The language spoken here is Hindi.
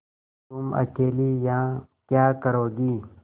तुम अकेली यहाँ क्या करोगी